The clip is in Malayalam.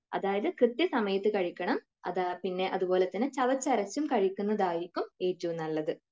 അതായത് കൃത്യസമയത്തു കഴിക്കണം, അത് അത്പോലെ തന്നെ ചവച്ചരച്ചു കഴിക്കുന്നതായിരിക്കും ഏറ്റവും നല്ലത്.